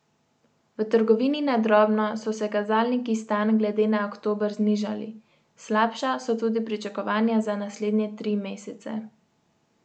V trgovini na drobno so se kazalniki stanj glede na oktober znižali, slabša so tudi pričakovanja za naslednje tri mesece.